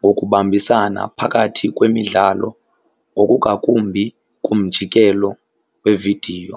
ngokubambisana phakathi kwemidlalo ngokungakumbi kumjikelo wevidiyo.